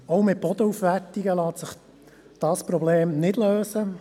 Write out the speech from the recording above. Auch mit Bodenaufwertungen lässt sich dieses Problem nicht lösen.